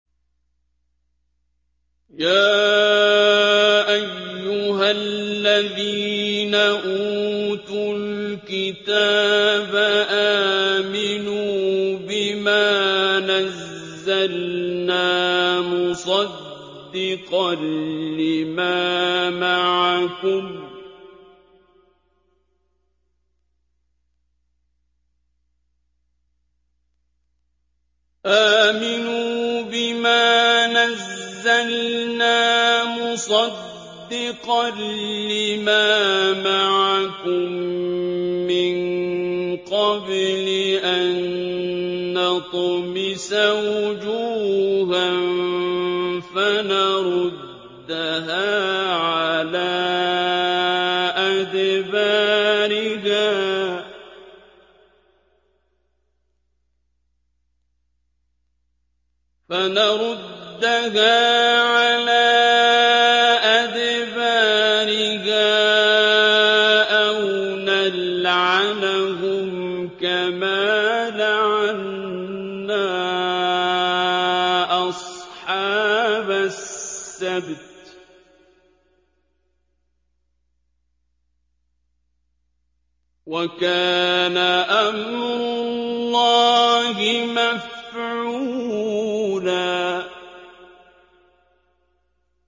يَا أَيُّهَا الَّذِينَ أُوتُوا الْكِتَابَ آمِنُوا بِمَا نَزَّلْنَا مُصَدِّقًا لِّمَا مَعَكُم مِّن قَبْلِ أَن نَّطْمِسَ وُجُوهًا فَنَرُدَّهَا عَلَىٰ أَدْبَارِهَا أَوْ نَلْعَنَهُمْ كَمَا لَعَنَّا أَصْحَابَ السَّبْتِ ۚ وَكَانَ أَمْرُ اللَّهِ مَفْعُولًا